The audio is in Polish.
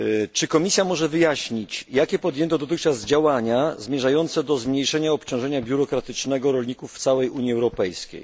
Czy Komisja może wyjaśnić, jakie podjęto dotychczas działania zmierzające do zmniejszenia biurokratycznego obciążenia rolników w całej Unii Europejskiej?